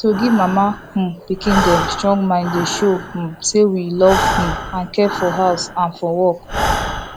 to give mama um pikin them strong mind dey show um say we love um and care for house and for work